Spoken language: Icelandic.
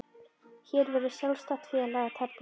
Hér verður um sjálfstætt félag að tefla.